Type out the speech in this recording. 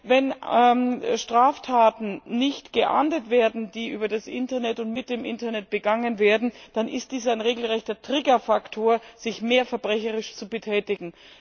Wenn Straftaten nicht geahndet werden, die über das Internet und mit dem Internet begangen werden, dann ist dies ein regelrechter Triggerfaktor, sich mehr verbrecherisch zu betätigen.